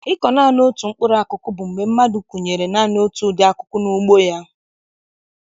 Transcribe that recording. Ịkọ naanị otu mkpụrụ akụkụ bụ mgbe mmadụ kụnyere naanị otu ụdị akụkụ n'ugbo ya.